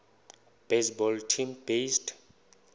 baseball team based